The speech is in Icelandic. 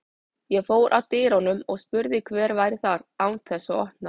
Ég fór að dyrunum og spurði hver væri þar, án þess að opna.